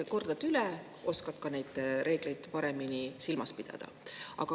Kordad üle, oskad ka neid reegleid paremini silmas pidada.